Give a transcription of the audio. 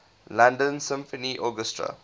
london symphony orchestra